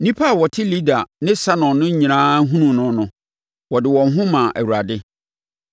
Nnipa a wɔte Lida ne Saron no nyinaa hunuu no no, wɔde wɔn ho maa Awurade.